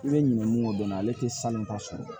I bɛ ɲinɛ mun ko dɔn ale tɛ sanu ta sɔrɔ